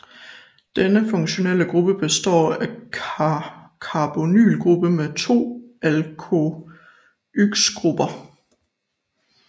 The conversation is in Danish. Denne funktionelle gruppe består af en carbonylgruppe med to alkoxygrupper